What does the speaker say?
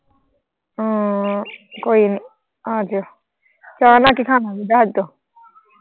ਹਾਂ ਕੋਈ ਨਹੀਂ ਆ ਜਿਓ ਚਾਹ ਨਾਲ ਖੌਗੇ ਦੱਸ ਦਿਓ।